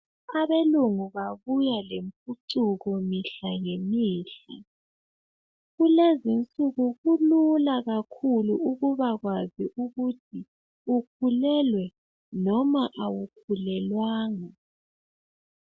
Abelungu babuya lempucuko mihla ngemihla kulezinsuku kulula kabi ukuba kwazi ukuthi ukhulelwe noma awukhulelwanga